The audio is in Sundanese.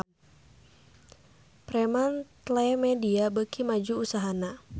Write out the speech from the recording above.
Fremantlemedia beuki maju usahana